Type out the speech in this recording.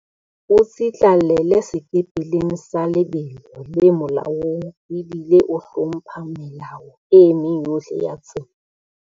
O tsitlallela sekepeleng sa lebelo le molaong ebile o hlompha melao e meng yohle ya tsela.